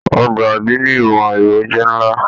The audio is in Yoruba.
Ọgbà adini ìmọ ẹrọ jẹ nlá.